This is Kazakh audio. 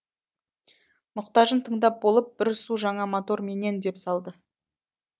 мұқтажын тыңдап болып бір су жаңа мотор менен деп салды